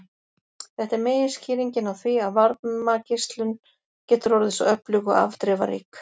Þetta er meginskýringin á því að varmageislun getur orðið svo öflug og afdrifarík.